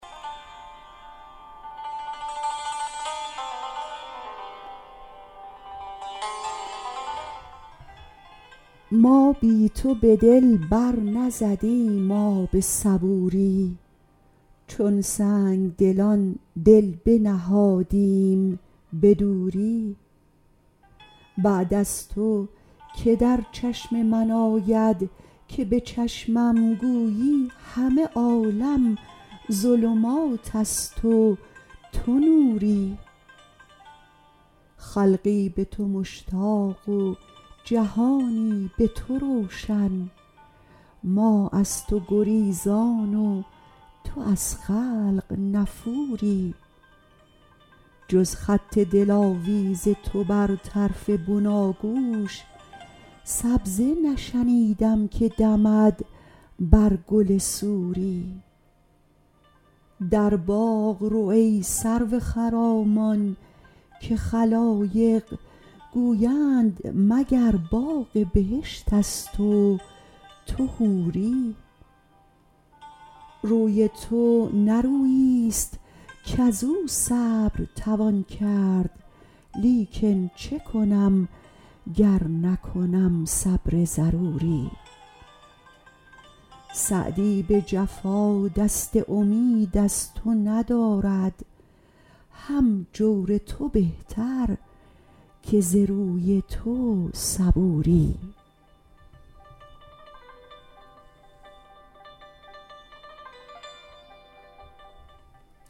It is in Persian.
ما بی تو به دل بر نزدیم آب صبوری چون سنگدلان دل بنهادیم به دوری بعد از تو که در چشم من آید که به چشمم گویی همه عالم ظلمات است و تو نوری خلقی به تو مشتاق و جهانی به تو روشن ما در تو گریزان و تو از خلق نفوری جز خط دلاویز تو بر طرف بناگوش سبزه نشنیدم که دمد بر گل سوری در باغ رو ای سرو خرامان که خلایق گویند مگر باغ بهشت است و تو حوری روی تو نه روییست کز او صبر توان کرد لیکن چه کنم گر نکنم صبر ضروری سعدی به جفا دست امید از تو ندارد هم جور تو بهتر که ز روی تو صبوری